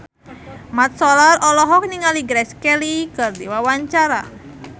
Mat Solar olohok ningali Grace Kelly keur diwawancara